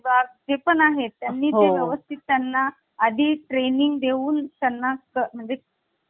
आणि त्याला भारताच त्याला भारतात सामील करून घ्यायचे आहे त्याला राज्य बनवायचे आहे हे तरतूद कलम दोन मध्ये देण्या देण्यात आलेली आहे. For example अह आता एखाद्या पाकिस्तान आहे